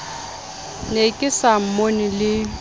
ne ke sa mmone le